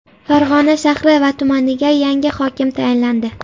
Farg‘ona shahri va tumaniga yangi hokim tayinlandi.